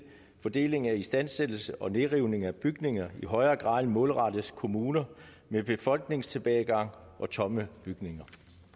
fordeling af istandsættelse og nedrivning af bygninger i højere grad målrettes kommuner med befolkningstilbagegang og tomme bygninger